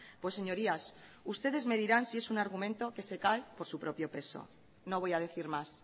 pues señorías ustedes me dirán si es un argumento que se cae por su propio peso no voy a decir más